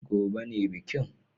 Gobe ​​ne bikin